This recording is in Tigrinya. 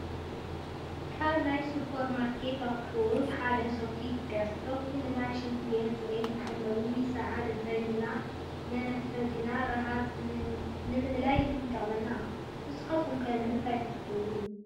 ካብ ናይ ሱፐርማርኬት ኣቑሑት ሓደ ሶፍት ይጥቀስ፡፡ ሶፍት ንናይ ሽንትቤት ፅሬት መሐለዊ፣ ሰዓል እንትትሕዘና መናፈጢን ራሃፅ ንምእላይን ይጠቕመና፡፡ ንስኻትኩም ከ ንምንታይ ትጥቀምሉ?